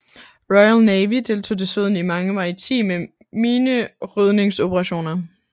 Royal Navy deltog desuden i mange maritime minerydningsoperationer